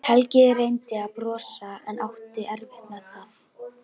Helgi reyndi að brosa en átti erfitt með það.